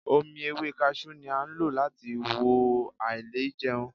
Omi ewé kaṣú ni a lò láti wo àìlèjẹun.